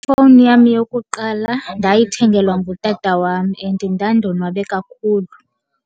Ifowuni yam yokuqala ndayithengelwa ngutata wam and ndandonwabe kakhulu.